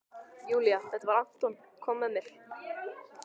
Júlía: Þetta var- Anton kom með mér.